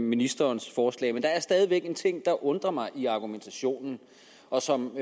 ministerens forslag men der er stadig væk en ting der undrer mig i argumentationen og som